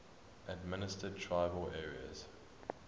administered tribal areas